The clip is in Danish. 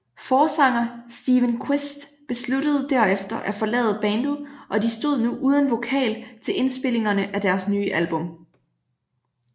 Forsanger Steven Qvist besluttede derefer at forlade bandet og de stod nu uden vokal til indspilningerne af deres nye album